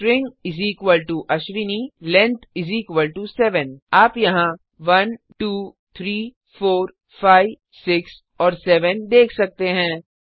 string Ashwini length 7 आप यहाँ 123456 और 7 देख सकते हैं